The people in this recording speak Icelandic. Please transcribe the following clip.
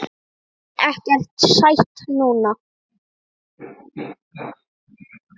Vil ekkert sætt núna.